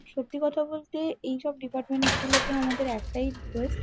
সত্যি কথা বলতে এই সব ডিপার্টমেন্ট -গুলোকে আমাদের একটাই রিকোয়েস্ট --